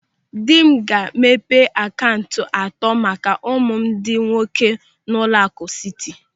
Dị m ga-emepe akaụntụ atọ maka ụmụ m ndị nwoke n'ụlọaku Siti.